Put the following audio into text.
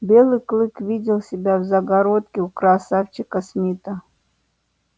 белый клык видел себя в загородке у красавчика смита